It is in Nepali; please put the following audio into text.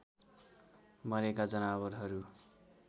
मरेका जनावरहरू